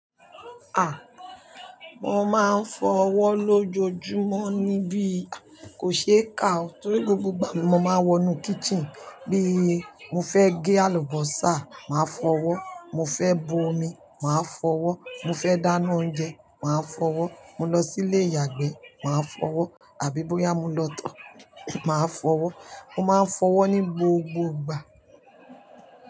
Mo máa ń fọwọ́ lójoojúmọ́ níbí. Kò ṣe é kà o torí gbogbo ìgbà mo máa ń wọ inú kitchen bí mo fẹ́ gé àlùbọ́sà, màá fọwọ́. Mo fẹ́ bu omi, màá fọwọ́. Mo fẹ́ dáná oúnjẹ, màá fọwọ́. Mo lọ sí ilé ìyàgbẹ́, màá fọwọ́. Àbí bóyá mo lọ tọ̀, màá fọwọ́. Mo máa ń fọwọ́ ní gbogbo ìgbà.